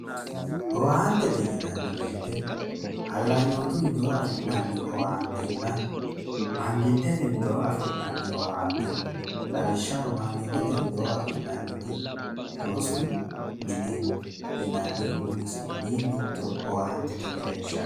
owaantete yinanni woyiite hallanyootiu widoonni afi'nanni owaantenna mangistete widoonni afi'nanni owaante no lawishshaho mangitete widoo afi'nanniti rosu mine yinannihu umisi mitto owaantete mereershaati.